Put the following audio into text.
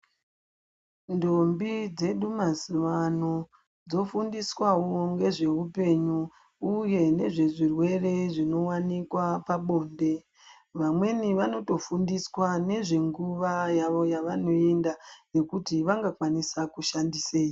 Ntombi dzedu mazuwa ano , dzofundiswawo ngezveupenyu uye nezvezvirwere zvinowanikwa pabonde .Vamweni vanotofundiswa nezvenguwa yawo yavanoenda yekuti vangakwanisa kushandisei .